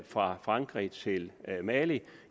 fra frankrig til mali